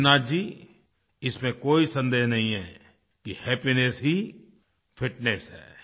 देवनाथ जी इसमें कोई सन्देह नहीं है कि हैपीनेस ही फिटनेस है